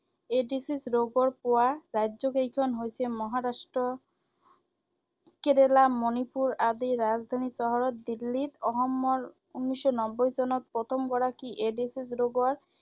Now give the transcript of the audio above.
AIDS ৰোগৰ পোৱা ৰাজ্যকেইখন হৈছে মহাৰাষ্ট্ৰ, কেৰালা, মণিপুৰ আদি ৰাজধানী চহৰত দিল্লীত, অসমৰ উনৈশ নব্বৈ চনত প্ৰথমগৰাকী এইড্‌ছ ৰোগৰ